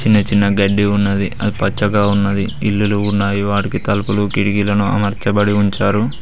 చిన్న చిన్న గడ్డి ఉన్నది అది పచ్చగా ఉన్నది ఇల్లులు ఉన్నాయి వాటికి తలుపులు కిటికీలను అమర్చబడి ఉంచారు.